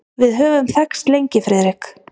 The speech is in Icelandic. Við höfum þekkst lengi, Friðrik.